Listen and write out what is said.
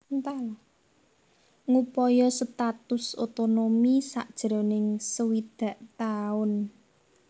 Ngupaya status otonomi sajroning swidak taun